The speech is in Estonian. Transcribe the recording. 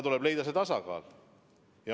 Tuleb leida tasakaal.